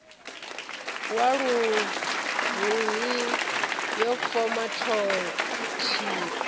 wa luhuhi yo foma thikho